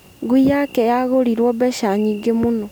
Ngui yake yagũrirwo mbeca nyingĩ mũno.